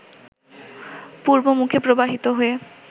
পূর্বমুখে প্রবাহিত হয়ে